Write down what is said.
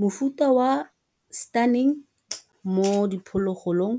Mofuta wa stunning mo diphologolong,